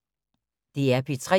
DR P3